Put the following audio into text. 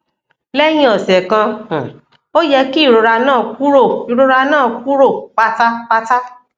lẹyìn ọsẹ kan um ó yẹ kí ìrora náà kúrò ìrora náà kúrò pátápátá